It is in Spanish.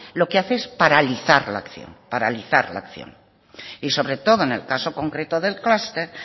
lo que hace es paralizar la acción paralizar la acción y sobre todo en el caso concreto del clúster